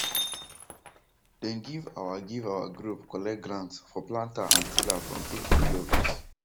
dem give our give our group collect grant for planter and tiller from adp office